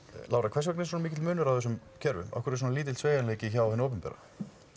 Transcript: Lára hvers vegna er svona mikill munur á þessum kerfum af hverju er svona lítill sveigjanleiki hjá hinu opinbera